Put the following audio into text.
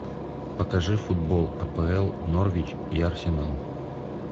покажи футбол апл норвич и арсенал